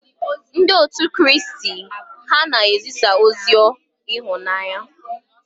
Ndị otu Kraịst ha na-ezisa ozi ịhụnanya?